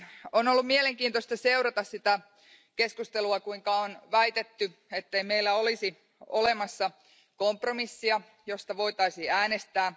On ollut mielenkiintoista seurata sitä keskustelua, kuinka on väitetty, ettei meillä olisi olemassa kompromissia, josta voitaisiin äänestää.